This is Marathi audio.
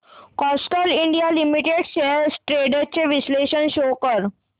Castrol India limited shares trends चे विश्लेषण शो कर